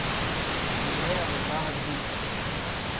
Prireja ga Zavod Big.